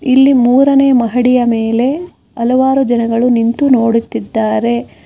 ಇಲ್ಲಿ ಮೂರನೇ ಮಹಡಿಯ ಮೇಲೆ ಹಲವಾರು ಜನಗಳು ನಿಂತು ನೋಡುತ್ತಿದ್ದಾರೆ.